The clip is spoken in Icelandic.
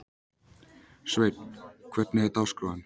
Sveinn, hvernig er dagskráin?